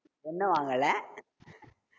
ஒண்ணு வாங்கல